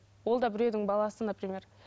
ол да біреудің баласы например